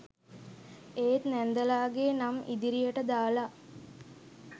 ඒත් නැන්දලාගෙ නම් ඉදිරියට දාලා